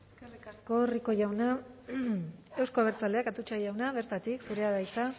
eskerrik asko rico jauna euzko abertzaleak atutxa jauna bertatik zurea da hitza